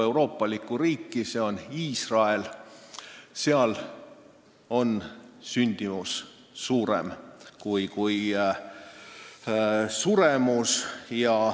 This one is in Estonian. See on Iisrael, kus on sündimus suurem kui suremus.